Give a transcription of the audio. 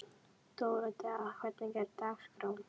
Dóróthea, hvernig er dagskráin?